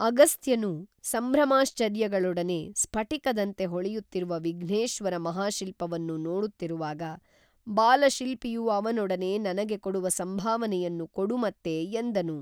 ಅಗಸ್ತ್ಯನು ಸಂಭ್ರಮಾಶ್ಚರ್ಯಗಳೊಡನೆ ಸ್ಫಟಿಕದಂತೆ ಹೊಳೆಯುತ್ತಿರುವ ವಿಘ್ನೇಶ್ವರ ಮಹಾಶಿಲ್ಪವನ್ನು ನೋಡುತ್ತಿರುವಾಗ ಬಾಲಶಿಲ್ಪಿಯು ಅವನೊಡನೆ ನನಗೆ ಕೊಡುವ ಸಂಭಾವನೆಯನ್ನು ಕೊಡುಮತ್ತೆ ಎಂದನು